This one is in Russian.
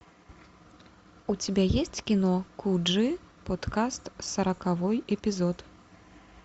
у тебя есть кино куджи подкаст сороковой эпизод